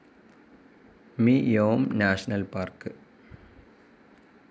മി യോം national park